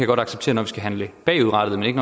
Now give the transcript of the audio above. godt acceptere når vi skal handle bagudrettet men ikke